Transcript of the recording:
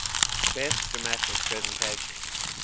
best dramatic presentation